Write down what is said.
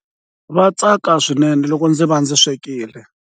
Va tsaka swinene loko ndzi va ndzi swekile.